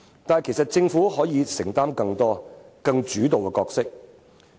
但其實，政府是可以作出承擔及擔當更主動的角色的。